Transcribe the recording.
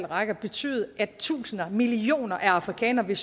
rækker betyde at tusinder millioner af afrikanere vil